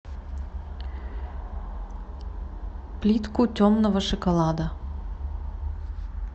плитку темного шоколада